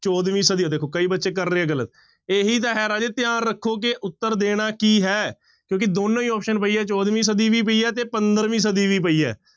ਚੌਦਵੀਂ ਸਦੀ ਆ ਦੇਖੋ ਕਈ ਬੱਚੇ ਕਰ ਰਹੇ ਆ ਗ਼ਲਤ ਇਹੀ ਤਾਂ ਹੈ ਰਾਜੇ ਧਿਆਨ ਰੱਖੋ ਕਿ ਉੱਤਰ ਦੇਣਾ ਕੀ ਹੈ ਕਿਉਂਕਿ ਦੋਨੋਂ ਹੀ option ਪਈ ਹੈ ਚੌਦਵੀਂ ਸਦੀ ਵੀ ਪਈ ਹੈ ਤੇ ਪੰਦਰਵੀਂ ਸਦੀ ਵੀ ਪਈ ਹੈ।